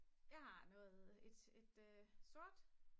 jeg har noget